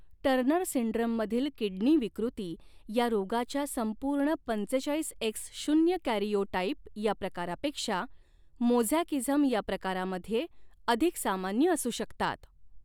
Turner सिंड्रममधील किडनी विकृती या रोगाच्या संपूर्ण पंचेचाळीस एक्स शून्य कॅरिओटाइप या प्रकारापेक्षा मोझॅकिझम या प्रकारामध्ये अधिक सामान्य असू शकतात.